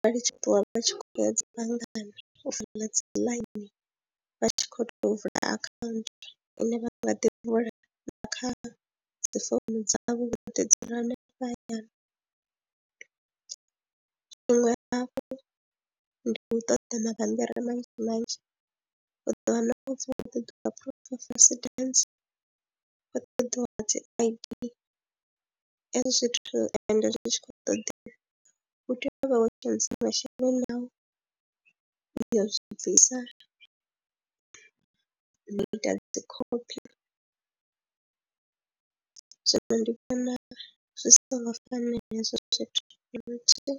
vha khou tzhipiwa vha tshi khou ya dzi banngani u fola dzi ḽaini vha tshi khou tea u vula akhaunthu ine vha nga ḓi vula na kha dzi founu dzavho vho ḓi dzula henefha hayani. Tshiṅwe hafhu ndi u ṱoḓa mabambiri manzhi manzhi, u ḓo wana hu tshi khou ṱoḓiwa proof of resident, u ṱoḓiwa dzi I_D hezwi zwithu ende zwi tshi khou ṱoḓea u tea uv ha wo dzhenisa masheleni au ya zwi bvisa na u ita dzi khophi zwino ndi vhona zwi songo fanela hezwo zwithu.